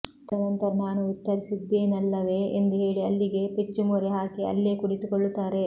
ತದ ನಂತರ ನಾನು ಉತ್ತರಿಸಿದ್ದೇನಲ್ಲವೇ ಎಂದು ಹೇಳಿ ಅಲ್ಲಿಗೆ ಪೆಚ್ಚು ಮೊರೆ ಹಾಕಿ ಅಲ್ಲೇ ಕುಳಿತುಕೊಳ್ಳುತ್ತಾರೆ